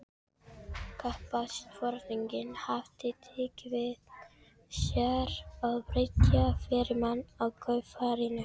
Kafbátsforinginn hafði tekið með sér þriðja stýrimann af kaupfarinu